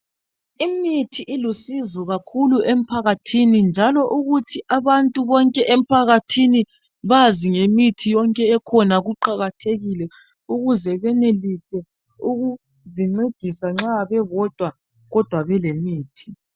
Imithi ilusizo kakhulu emphakathini njalo ukuthi abantu bonke emphakathini bazi ngemithi yonke ekhona kuqakathekile ukuze benelise ukuzincedisa nxa bebodwa kodwa belemithi.